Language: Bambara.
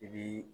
I bi